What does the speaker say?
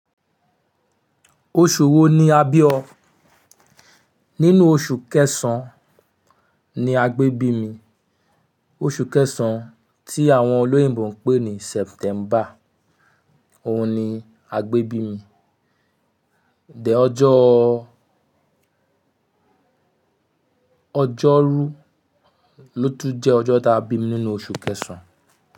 Oṣù wo ni a bí o? Nínú oṣù kẹsàn-án ni a gbé bí mi. Oṣù kẹsàn-án tí àwọn olóyìnbo ń pè ní September. Ohun ni a gbé bí mi. Dẹ̀ ọjọ́, ọjọ́rú ló tún jẹ́ ọjọ́ ta bí mi nínú oṣù kẹsàn-án.